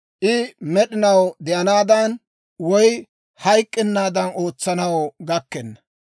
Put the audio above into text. I med'inaw de'anaadan, woy I hayk'k'ennaadan ootsanaw gakkenna.